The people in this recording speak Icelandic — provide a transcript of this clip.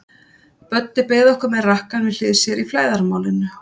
Böddi beið okkar með rakkann við hlið sér í flæðarmálinu.